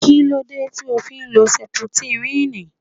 Kílódé tí o fi ń lo sẹputírínì?